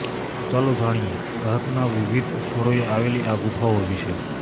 તો ચાલો જાણીએ ભારતના વિવિધ સ્થળોએ આવેલી આ ગુફાઓ વિશે